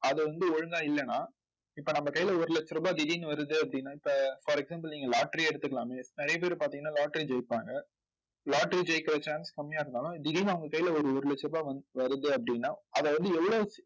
அது வந்து ஒழுங்கா இல்லைன்னா இப்ப நம்ம கையில ஒரு லட்ச ரூபாய் திடீர்ன்னு வருது அப்படின்னா இப்ப for example நீங்க lottery யே எடுத்துக்கலாமே நிறைய பேர் பார்த்தீங்கன்னா lottery ஜெயிப்பாங்க lottery ஜெயிக்கற chance கம்மியா இருந்தாலும் திடீர்னு அவங்க கையில ஒரு ஒரு லட்ச ரூபாய் வருது அப்படின்னா அதை வந்து எவ்வளவு